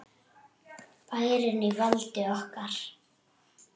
Bærinn á valdi okkar!